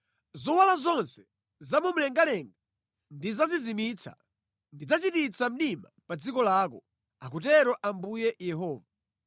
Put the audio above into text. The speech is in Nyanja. Zowala zonse zamumlengalenga ndidzazizimitsa; ndidzachititsa mdima pa dziko lako, akutero Ambuye Yehova.